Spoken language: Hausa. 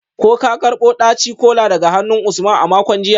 Ko ka karbo daci-kola daga hannun Usman a makon jiya?